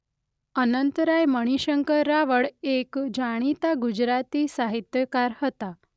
અનંતરાય મણિશંકર રાવળ એક જાણીતા ગુજરાતી સાહિત્યકાર હતા.